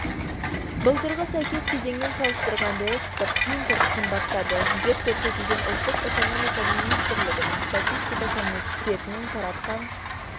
былтырғы сәйкес кезеңмен салыстырғанда экспорт импорт қымбаттады деп көрсетілген ұлттық экономика министрлігінің статистика комитетінің таратқан